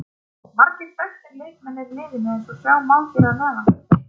Margir aðrir þekktir leikmenn eru í liðinu eins og sjá má hér að neðan.